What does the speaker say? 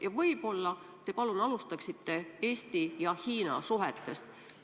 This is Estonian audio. Ja võib-olla alustate Eesti ja Hiina suhetest.